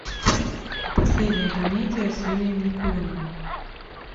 последняя комедия с юрием никулиным